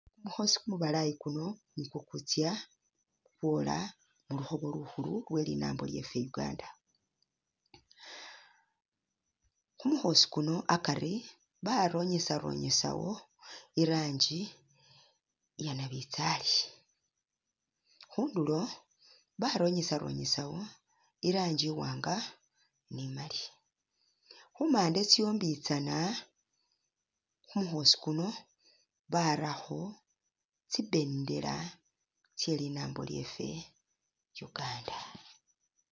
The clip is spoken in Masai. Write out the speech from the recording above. Kumukhoosi kumubalayi kuno, nikwo kutsa kwola mu lukhobo lukhulu lwe linambo lyeffe uganda, ku mukhoosi kuno akari ba ronyesaronyesawo i rangi iya nabitsali, khundulo baronyesaronyesawo i rangi iwanga ni imali, khumande tsombitsana khu mukhoosi kuno barakho tsi bendera tse linambo lyeffe uganda.